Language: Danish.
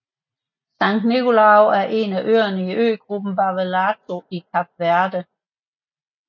São Nicolau er en af øerne i øgruppen Barlavento i Kap Verde